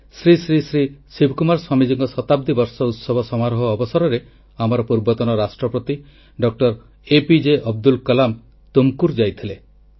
2007ରେ ଶ୍ରୀ ଶ୍ରୀ ଶ୍ରୀ ଶିବକୁମାର ସ୍ୱାମୀଜୀଙ୍କ ଶତାବ୍ଦୀ ବର୍ଷ ଉତ୍ସବ ସମାରୋହ ଅବସରରେ ଆମର ପୂର୍ବତନ ରାଷ୍ଟ୍ରପତି ଡଏପିଜେ ଅବ୍ଦୁଲ୍ କଲାମ ଟୁମକୁର୍ ଯାଇଥିଲେ